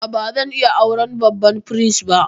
A'a, ba zan iya auren babban firist ba.